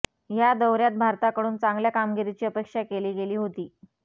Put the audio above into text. ह्या दौऱ्यात भारताकडून चांगल्या कामगिरीची अपेक्षा केली गेली होती